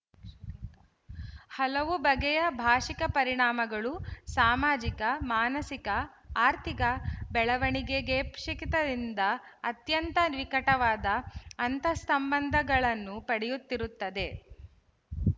ಹಲವು ಬಗೆಯ ಭಾಶಿಕ ಪರಿಣಾಮಗಳು ಸಾಮಾಜಿಕ ಮಾನಸಿಕ ಆರ್ಥಿಕ ಬೆಳವಣಿಗೆಗಪೇಕ್ಷೆ ಪಿತದಿಂದ ಅತ್ಯಂತ ನಿಕಟವಾದ ಅಂತಸ್ಸಂಬಂಧಗಳನ್ನು ಪಡೆಯುತ್ತಿರುತ್ತದೆ